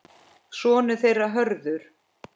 Sonur þeirra Hörður.